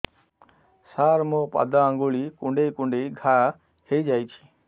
ସାର ମୋ ପାଦ ଆଙ୍ଗୁଳି କୁଣ୍ଡେଇ କୁଣ୍ଡେଇ ଘା ହେଇଯାଇଛି